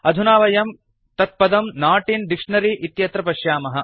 अधुना वयं तत्पदं नोट् इन् डिक्शनरी इत्यत्र पश्यामः